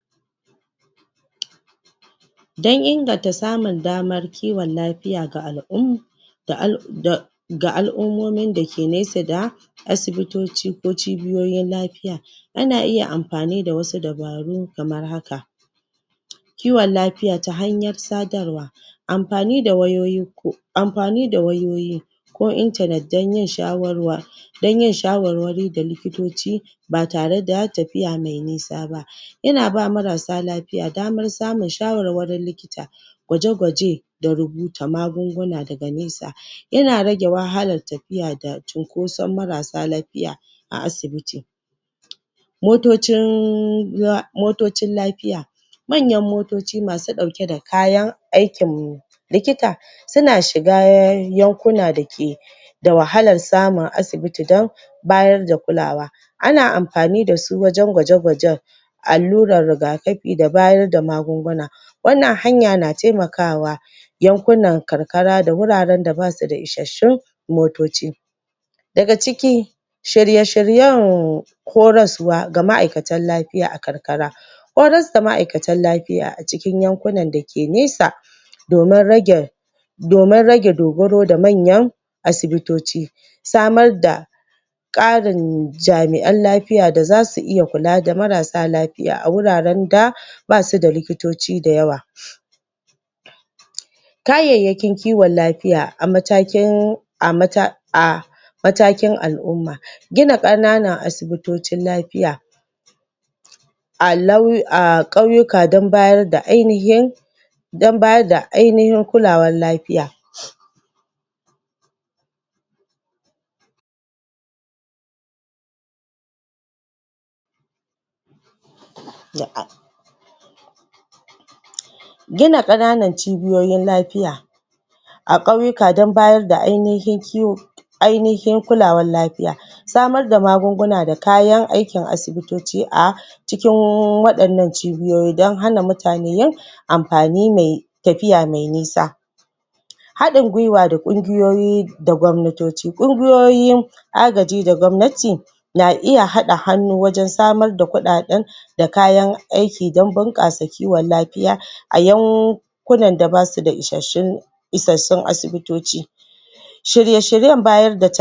Don inganta samun damar kiwon lafiya ga al'umma da al da ga al'umomin dake nesa da asibitoci ko cibiyoyin lafiya ana iya amfani da wasu dubaru kamar haka kiwon lafiya ta hanyar sadarwa amfani da wayoyin ku amfani da wayoyi ko internet don yin shawarwa dan yin shawarwari da likitoci ba tare da tafiya mai nisa ba yana ba marassa lafiya bamar samun shawarwari likita gwaje-gwaje da rubuta magunguna daga nesa yana rage wahalar tafiya da cunkoson maras sa lafiya a asibiti motocin um motocin lafiya manyan motoci masu ɗauke da kayan aikin likita suna shiga um yankuna dake da wahalar samun asibiti don bayar da kulawa ana amfani dasu wajan gwaje-gwajen allurar rigakafi da bayar da magunguna wannan hanyar na taimakawa yankunan karkara da wuraran da basu isashshun motoci daga ciki shirye-shiryen koraswa ga ma'aikatan lafiya a karkara horars da ma'aikatan lafiya a cikin yankunan dake nesa domin rage domin rage dogaro da manyan asibitoci samar da ƙarin jami'an lafiya da zasu iya kula da maras sa lafiya a wuraren da dasu da likitoci da yawa kayayyacin kiwon lafiya a matakin a mata a matakin al'umma gina ƙananan asibitocin lafiya a laiyi a ƙauyika dan bayar da ainihin dan bayar da ainihin kulawar lafiya um Gina ƙananin cibiyoyin lafiya dan bayar da ainihin kiwo ainihin kulawar lafiya samar da magunguna da kayan aikin asibitoci a cikin waɗannan cibiyoyi dan hana mutane amfani mai tafiya mai nisa haɗin gwiwa da ƙungiyoyi da gwamnatoci, ƙungiyoyin agaji da gwamnati na iya haɗa hannu wajan samar da kuɗaɗan da kayan aiki dan bunƙasa kiwon lafiya a yau kunan da basu ishashshin isassun asibitoci shirye-shiryen bayar da tal